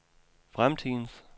fremtidens